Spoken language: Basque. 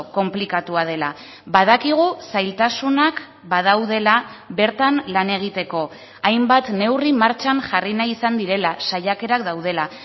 konplikatua dela badakigu zailtasunak badaudela bertan lan egiteko hainbat neurri martxan jarri nahi izan direla saiakerak daudela